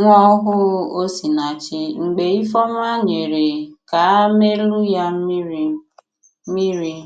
nwa ohù Osinàchì mgbe Ifeoma nyere kaamelụ̀ ya mmìrị̀. mmìrị̀.